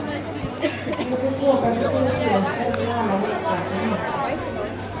De fick åka till sjukhuset med alla leksakerna.